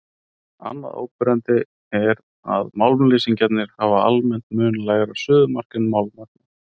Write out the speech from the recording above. Annað áberandi er að málmleysingjarnir hafa almennt mun lægra suðumark en málmarnir.